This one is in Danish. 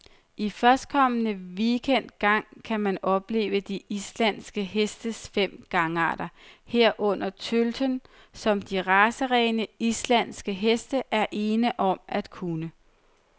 I førstkommende weekend gang kan man opleve de islandske hestes fem gangarter, herunder tølten, som de racerene, islandske heste er ene om at kunne.